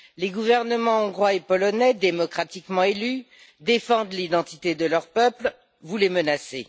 Les gouvernements hongrois et polonais, démocratiquement élus, défendent l'identité de leur peuple, vous les menacez.